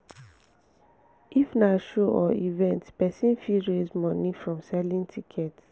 if na show or event person fit raise money from selling tickets